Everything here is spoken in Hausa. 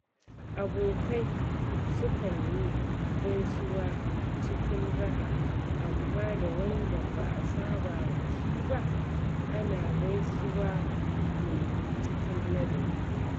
Abokai sukan yi gaisuwa cikin raha, amma da wanda ba a saba da shi ba, ana gaisuwa ne cikin ladabi.